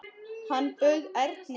Hann bauð Erni.